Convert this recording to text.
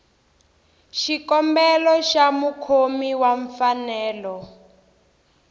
xikombelo xa mukhomi wa mfanelo